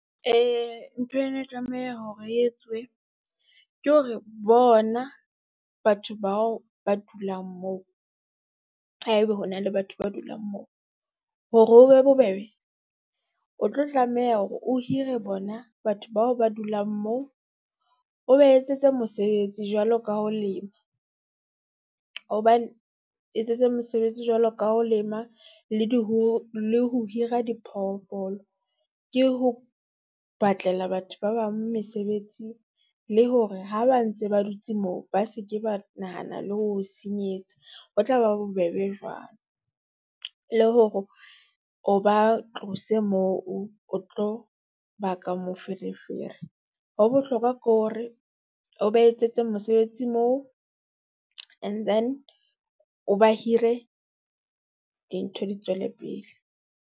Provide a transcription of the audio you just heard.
Ntho eo e ne e tlameha hore e etsuwe ke hore bona batho bao ba dulang moo ha e be ho na le batho ba dulang moo. Hore ho be bobebe, o tlo tlameha hore o hire bona batho bao ba dulang moo, o ba etsetse mosebetsi jwalo ka ho lema. Hobane etsetse mosebetsi jwalo ka ho lema le di le ho hira diphoofolo, ke ho batlela batho ba bang mesebetsi le hore ha ba ntse ba dutse moo, ba seke ba nahana le ho o senyetsa, ho tla ba bobebe jwang. Le hore o ba tlose moo, o tlo baka moferefere. Ho bohlokwa ke hore, o ba etsetse mosebetsi moo, and then o ba hire dintho di tswele pele.